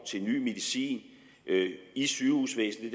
til ny medicin i sygehusvæsenet